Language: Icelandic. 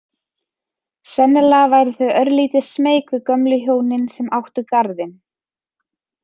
Sennilega væru þau örlítið smeyk við gömlu hjónin sem áttu garðinn.